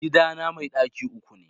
Gidana mai ɗaki uku ne